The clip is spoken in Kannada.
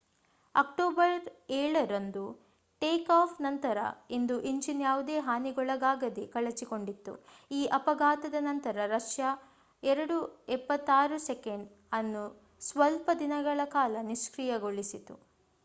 ಅಕ್ಟೋಬರ್ 7ರಂದು ಟೇಕಾಫ್ ನಂತರ ಒಂದು ಇಂಜಿನ್ ಯಾವುದೇ ಹಾನಿಗೊಳಗಾಗದೇ ಕಳಚಿಕೊಂಡಿತು ಈ ಅಫಘಾತದ ನಂತರ ರಷ್ಯಾ ii-76s ಅನ್ನು ಸ್ವಲ್ಪ ದಿನಗಳ ಕಾಲ ನಿಷ್ಕ್ರಿಯಗೊಳಿಸಿತು